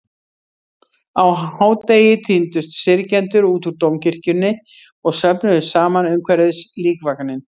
Á hádegi tíndust syrgjendur út úr Dómkirkjunni og söfnuðust saman umhverfis líkvagninn.